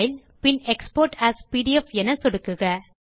file export as PDF என சொடுக்குக